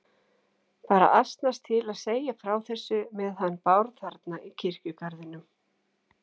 Bara asnast til að segja frá þessu með hann Bárð þarna í kirkjugarðinum.